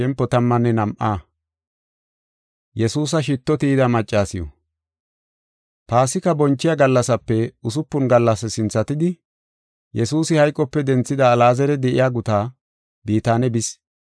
Paasika bonchiya gallasape usupun gallas sinthatidi, Yesuusi hayqope denthida Alaazari de7iya gutaa, Bitaane bis.